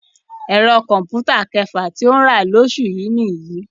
Ẹ̀rọ kọ̀m̀pútà kẹfà tí ó ń rà lóṣù yìí nìyí